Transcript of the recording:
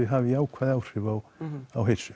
hafi jákvæð áhrif á á heilsu